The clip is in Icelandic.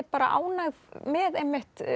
ánægð með einmitt